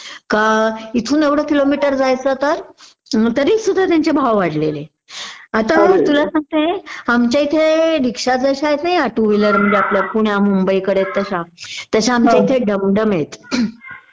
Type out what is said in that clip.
का इथून एवढ किलोमीटर जायचं तर तरीसुद्धा त्यांचे भाव वाढलेले आता मी तुला सांगते आमच्या इथे रिक्षा जश्या आहेत ना या टु व्हिलर म्हणजे पुण्या मुंबईकडेत तश्या तश्या आमच्याकडे डमडम आहेत